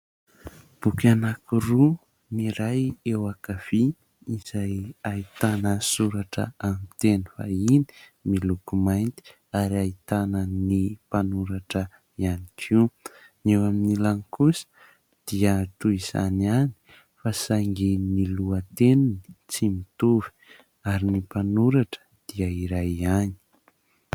Boky anankiroa, ny iray eo ankavia izay ahitana soratra aminy teny vahiny miloko mainty ary ahitana ny mpanoratra ihany koa, ny eo amin'ny ilany kosa dia toy izany ihany fa saingy ny lohateniny tsy mitovy ary ny mpanoratra dia iray ihany.